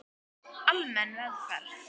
Almenn meðferð